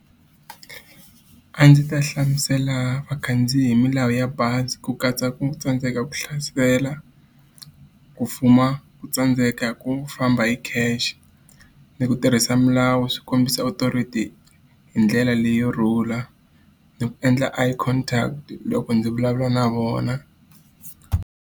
A ndzi ta hlamusela vakhandziyi hi milawu ya bazi ku katsa ku tsandzeka ku hlasela, ku fuma ku tsandzeka ku famba hi khale cash, ni ku tirhisa milawu swi kombisa authority hi ndlela leyo rhula. Ni ku endla eye contract loko ndzi vulavula na vona.